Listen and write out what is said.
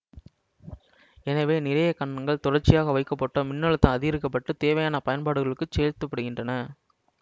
எனவே நிறைய கலன்கள் தொடர்ச்சியாக வைக்கப்பட்டோ மின்னழுத்தம் அதிகரிக்கப்பட்டுத் தேவையான பயன்பாடுகளுக்குச் சேல்த்தப்படுகின்றன